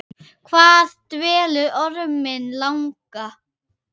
Hvað dvelur orminn langa?